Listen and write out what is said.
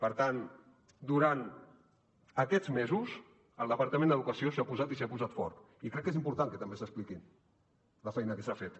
per tant durant aquests mesos el departament d’educació s’hi ha posat i s’hi ha posat fort i crec que és important que també s’expliqui la feina que s’ha fet